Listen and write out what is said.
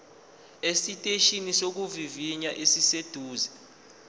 esiteshini sokuvivinya esiseduze